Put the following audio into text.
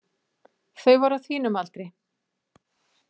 Þau voru á þínum aldri.